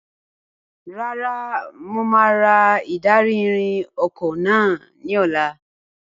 Rárá, mo máa ra ìdarí-ìrìn ọkọ̀ náà ní ọ̀la.